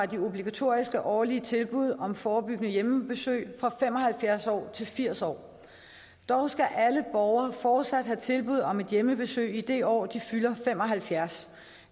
de obligatoriske årlige tilbud om forebyggende hjemmebesøg fra fem og halvfjerds år til firs år dog skal alle borgere fortsat have tilbud om et hjemmebesøg i det år de fylder fem og halvfjerds